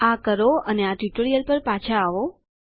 આ કરો અને આ ટ્યુટોરીયલ પર પાછા આવો